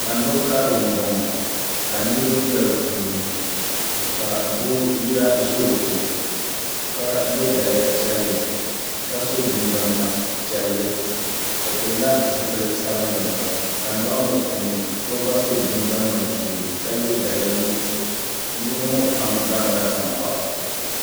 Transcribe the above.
Tando karili n boŋo ka niraba bɛ di puuni ka doo yaɣi ʒɛ o ko ka yɛ daliya piɛlli ka so jinjɛm ŋma piɛlli o pilila zipili sabinli gba tandoɣu ŋo puuni so gba so jinjɛm ŋma ʒiɛ ka yɛ daliya nuɣso niraba ŋo pam gbarinla tankpaɣu